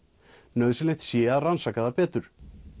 nauðsynlegt sé að rannsaka það betur